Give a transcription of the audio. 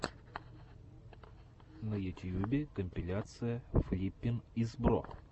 на ютьюбе компиляция флиппин из бро